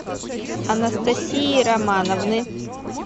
анастасии романовны